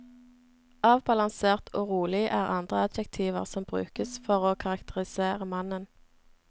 Avbalansert og rolig er andre adjektiver som brukes for å karakterisere mannen.